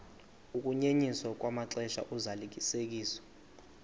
ukunyenyiswa kwamaxesha ozalisekiso